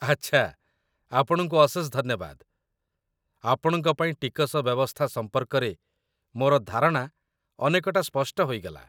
ଆଚ୍ଛା, ଆପଣଙ୍କୁ ଅଶେଷ ଧନ୍ୟବାଦ, ଆପଣଙ୍କ ପାଇଁ ଟିକସ ବ୍ୟବସ୍ଥା ସମ୍ପର୍କରେ ମୋର ଧାରଣା ଅନେକଟା ସ୍ପଷ୍ଟ ହୋଇଗଲା